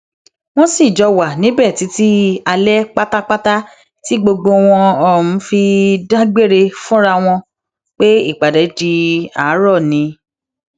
wọn sì jọ wà níbẹ títí alẹ pátápátá tí gbogbo wọn um fi dágbére fúnra wọn um pé ìpàdé di àárọ ni